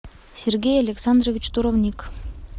сергей александрович туровник